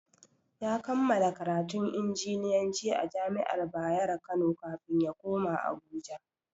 Ya kammala karatun injiniyanci a jami'ar Bayero kano kafin ya koma Abuja.